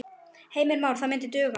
Heimir Már: Það myndi duga?